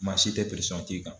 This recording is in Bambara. Maa si tɛ k'i kan.